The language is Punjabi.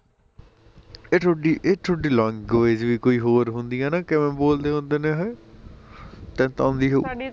ਏਹ ਥੋਡੀ ਏਹ ਥੋਡੀ ਲੰਘਉਏਜ਼ ਵੀ ਕੋਈ ਹੋਰ ਹੁੰਦੀ ਐ ਨਾ ਕਿਵੇ ਬੋਲਦੇ ਹੁੰਦੇ ਨੇ ਏਹ ਤੇਨੂੰ ਤਾਂ ਆਉਂਦੀ ਹੋਊ